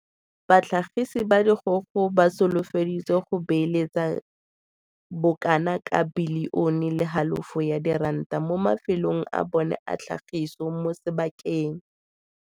Batlhagise ba dikgogo ba solofeditse go beeletsa bo kana ka bilione le halofo ya diranta mo mafelong a bona a tlhagiso mo sebakeng.